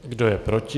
Kdo je proti?